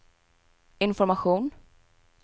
information